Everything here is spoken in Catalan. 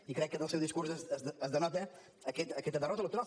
i crec que del seu discurs es denota aquesta derrota electoral